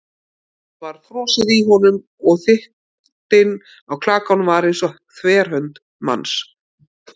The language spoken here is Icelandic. Það var frosið í honum- og þykktin á klakanum var eins og þverhönd manns.